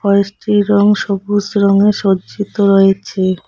গাছটির রং সবুজ রঙে সজ্জিত রয়েছে।